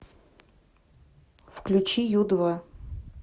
включи ю два